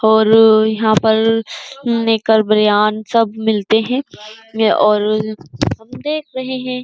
और यहां पर निकर बनियान सब मिलते हैं। ये और देख रहे हैं।